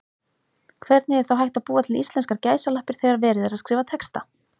Hvernig er þá hægt að búa til íslenskar gæsalappir þegar verið er að skrifa texta?